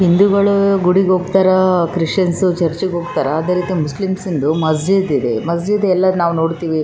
ಹಿಂದೂಗಳು ಗುಡಿಗೆ ಹೋಗ್ತಾರಾ ಕ್ರಿಸ್ಟಿಯಾನ್ಸ್ ಚರ್ಚಿಗ್ ಹೋಗ್ತಾರಾ ಅದೇ ರೀತಿ ಮುಸ್ಲಿಮ್ಸದು ಮಸೀದ್ ಇದೆ ಮಸೀದ್ ಎಲ್ಲ ನಾವು ನೋಡ್ತಿವಿ-